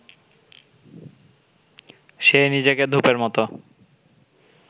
সে নিজেকে ধূপের মতো